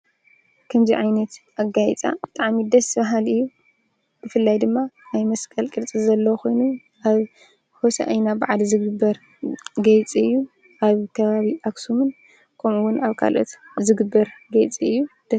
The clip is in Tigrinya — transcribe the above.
ከምዙይ ዓይነት ኣጋይፃ ተዓሚደስ በሃል እዩ ብፍላይ ድማ ኣይ መስቀል ቅድጽ ዘለዉ ኾይኑ ኣብ ሆሳ እይና ብዓድ ዝግበር ገይጽ እዩ ኣብ ከባቢ ኣክሡምን ኮምኡውን ኣብ ካልኦት ዝግበር ጌይጽ እዩ።